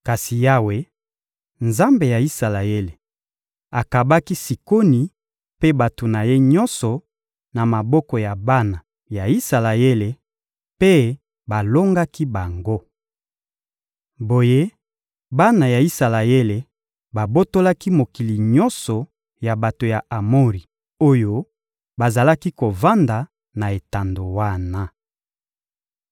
Kasi Yawe, Nzambe ya Isalaele, akabaki Sikoni mpe bato na ye nyonso na maboko ya bana ya Isalaele, mpe balongaki bango. Boye bana ya Isalaele babotolaki mokili nyonso ya bato ya Amori oyo bazalaki kovanda na etando wana.